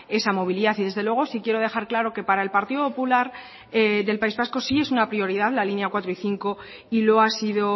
esa movilidad y desde luego sí quiero dejar claro que para el partido popular del país vasco sí es una prioridad la línea cuatro y cinco y lo ha sido